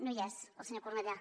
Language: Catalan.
no hi és el senyor cornellà